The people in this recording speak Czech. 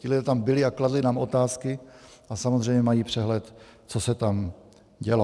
Ti lidé tam byli a kladli nám otázky a samozřejmě mají přehled, co se tam dělo.